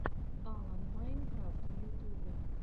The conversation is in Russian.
алан майнкрафт в ютубе